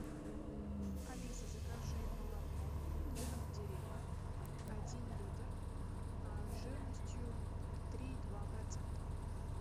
алиса закажи молоко домик в деревне один литр жирностью три и два процента